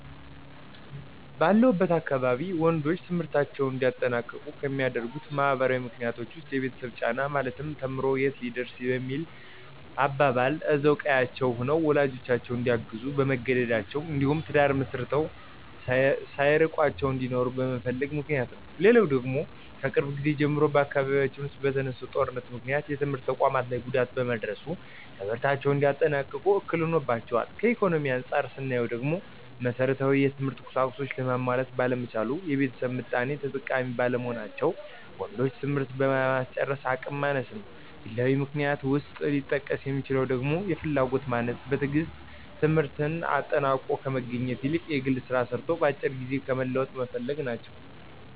ባለሁበት አካባቢ ወንዶች ትምህርታቸውን እንዳያጠናቅቁ ከሚያደርጉት ማህበራዊ ምክንያቶች ዉስጥ፦ የቤተሰብ ጫና ማለትም ተምሮ የት ሊደርስ በሚል አባባል እዛው ቀዬአቸው ሆነው ወላጆቻቸውን እንዲያግዙ በመገደዳቸው እንዲሁም ትዳር መስርተው ሳይርቋቸው እንዲኖሩ በመፈለጋቸው ምክንያት ነው። ሌላው ደግሞ ከቅርብ ጊዜ ጀምሮ በአካባቢያችን ዉስጥ በተነሳው ጦርነት ምክንያት የትምህርት ተቋማት ላይ ጉዳት በመድረሱ ትምህርታቸውን እንዳያጠናቅቁ እክል ሆኖባቸዋል። ከኢኮኖሚ አንፃር ስናየው ደግሞ መሠረታዊ የትምህርት ቁሳቁሶችን ለማሟላት ባለመቻል፣ የቤተሰብ ምጣኔ ተጠቃሚ ባለመሆን ወንዶችን ትምህርት ለማስጨረስ አቅም ማነስ ነው። ግላዊ ምክንያት ውስጥ ሊጠቀስ የሚችለው ደግሞ የፍላጎት ማነስ፣ በትግስት ትምህርትን አጠናቆ ከመገኘት ይልቅ የግል ስራ ሰርቶ በአጭር ጊዜ ለመለወጥ መፈለግ ናቸው።